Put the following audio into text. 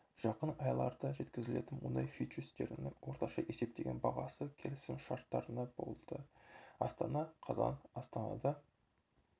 жақын айларда жеткізілетін мұнай фьючерстерінің орташа есептеген бағасы келісімшартына болды астана қазан астанада